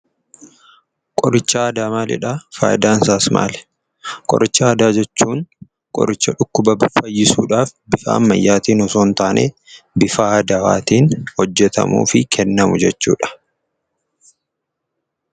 Qorichi aadaa maalidhaa? Faayidaansaas maali? Qoricha aadaa jechuun qoricha dhukkuba fayyisuudhaf bifa ammayaatiin osoon taanee bifa aadawaatiin hojjetamuu fi kennamu jechuudha.